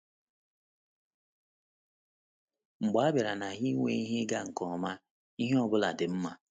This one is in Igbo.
Mgbe a bịara na ha inwe ihe ịga nke ọma, ihe ọ bụla dị mma.